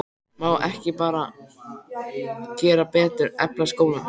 Má ekki bara gera betur, efla skólann?